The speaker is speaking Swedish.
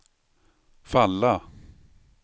falla